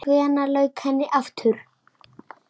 Hvenær lauk henni aftur?